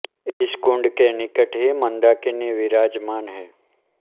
इस कुण्ड के निकट ही मन्दाकिनी विराजमान हैं